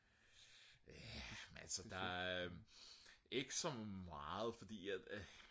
ja men altså der er ikke så meget fordi at